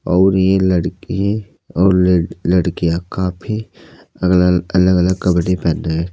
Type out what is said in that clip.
अउर ये लड़के और लड़ लड़कियां काफी अगल अलग अलग कपड़े पहने हैं।